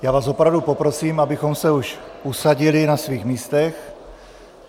Já vás opravdu poprosím, abyste se už usadili na svých místech.